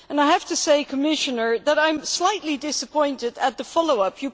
I have to say to the Commissioner that I am slightly disappointed at the follow up.